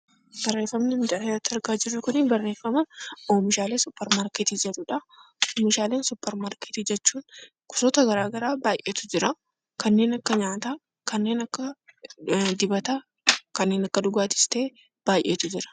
Barreeffamni asirratti argaa jirru, barreeffama oomishaalee suupermaarkeetii jedhudha. Oomishaalee suupermaarkeetii jechuun gosoota garaagaraa baayyeetu jiraa, kanneen akka nyaataa, kanneen akka dibataa, kanneen akka dhugaatiis ta'ee baayyeetu jira.